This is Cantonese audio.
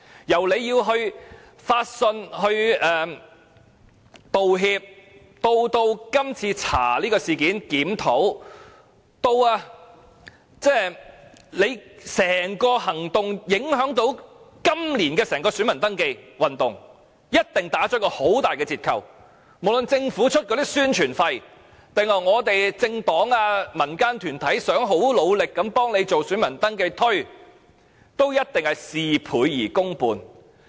由處方要發信道歉，至調查今次事件，進行檢討，至處方整個行動對今年整體選民登記行動的影響，一定會大打折扣；無論政府付出多少宣傳費，還是政黨和民間團體如何努力協助宣傳選民登記，均一定事倍功半。